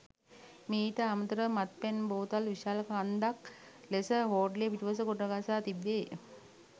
මීට අමතර ව මත්පැන් බෝතල් විශාල කන්දක් ලෙස හෝටලය පිටුපස ගොඩගසා තිබේ.